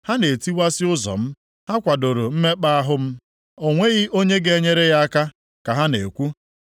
Ha na-etiwasị ụzọ m, ha kwadoro mmekpa ahụ m. ‘O nweghị onye ga-enyere ya aka,’ ka ha na-ekwu.